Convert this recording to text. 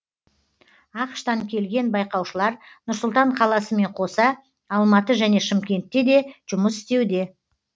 ақш тан келген байқаушылар нұр сұлтан қаласымен қоса алматы және шымкентте де жұмыс істеуде